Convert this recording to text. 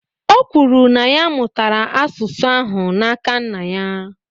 O kwuru, na ya mụtara asụsụ ahụ n’aka nna ya